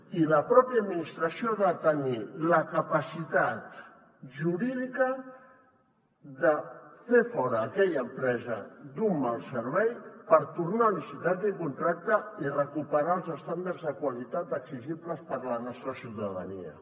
i la pròpia administració ha de tenir la capacitat jurídica de fer fora aquella empresa d’un mal servei per tornar a licitar aquell contracte i recuperar els estàndards de qualitat exigibles per la nostra ciutadania